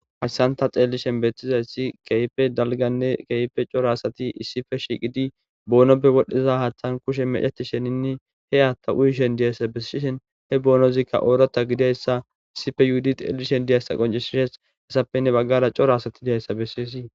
hayssanta xeellishen beettizayssi keype dalganne keype coro asati issife shiqidi boonoppe wodhdhiza haaththan kushe meceti sheninne he haatta uyishen diyayssa bessishen he boonozikka oorota gidayssa issife yuhudi xeellishen diyaysa qoncishishes hessapenne baggara coro asati diyayssa bessiysii